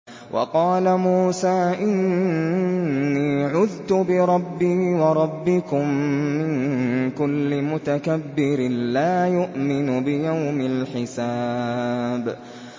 وَقَالَ مُوسَىٰ إِنِّي عُذْتُ بِرَبِّي وَرَبِّكُم مِّن كُلِّ مُتَكَبِّرٍ لَّا يُؤْمِنُ بِيَوْمِ الْحِسَابِ